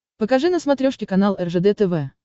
покажи на смотрешке канал ржд тв